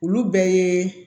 Olu bɛɛ ye